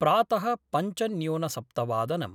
प्रात: पञ्चन्यूनसप्तवादनम्